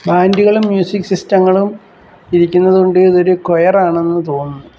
ബാന്റുകളും music സിസ്റ്റങ്ങളും ഇരിക്കുന്നത് കൊണ്ട് ഇതൊരു ക്വയർ ആണെന്ന് തോന്നുന്നു.